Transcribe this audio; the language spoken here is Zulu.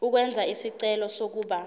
ukwenza isicelo sokuba